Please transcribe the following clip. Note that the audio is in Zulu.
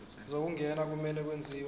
zokungena kumele kwenziwe